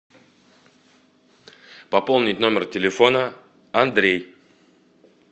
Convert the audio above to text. пополнить номер телефона андрей